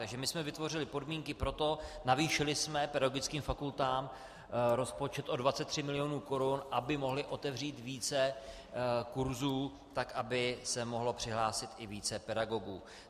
Takže my jsme vytvořili podmínky pro to, navýšili jsme pedagogickým fakultám rozpočet o 23 mil. korun, aby mohly otevřít více kurzů tak, aby se mohlo přihlásit i více pedagogů.